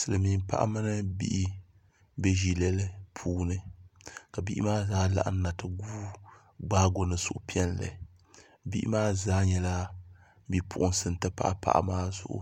Silmiin paɣa mini bihi n bɛ ʒilɛli puuni ka bihi maa zaa laɣamna ti gbaago ni suhupiɛlli bihi maa zaa nyɛla bipuɣunsi n ti pahi paɣa maa zuɣu